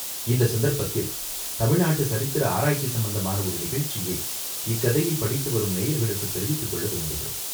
இந்தச் சந்தர்ப்பத்தில் தமிழ் நாட்டுச் சரித்திர ஆராய்ச்சி சம்பந்தமான ஒரு நிகழ்ச்சியை இக்கதையைப் படித்து வரும் நேயர்களுக்குத் தெரிவித்துக் கொள்ள விரும்புகிறோம்.